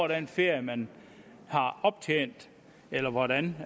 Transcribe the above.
den ferie man har optjent eller hvordan